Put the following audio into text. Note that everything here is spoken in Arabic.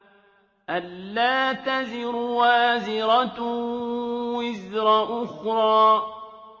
أَلَّا تَزِرُ وَازِرَةٌ وِزْرَ أُخْرَىٰ